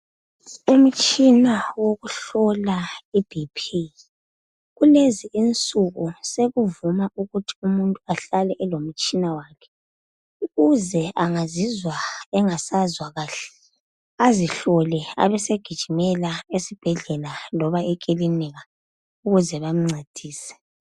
Umtshina wokuhlola iBP. Kulezi insuku sekuvuma ukuthi umuntu ahlale elomtshina wakhe, ukuze angazizwa engasezwa kuhle, azihlole abesegijimela esibhedlela loba ekilinika ukuze bamncedise.